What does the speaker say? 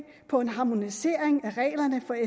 på en harmonisering af reglerne